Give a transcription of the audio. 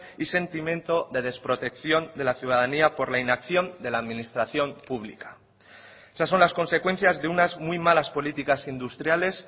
y sentimiento de desprotección de la ciudadanía por la inacción de la administración pública esas son las consecuencias de unas muy malas políticas industriales